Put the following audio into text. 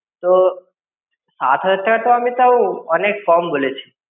তো সাত হাজার টাকা তো আমি অনেক কম বলেছি.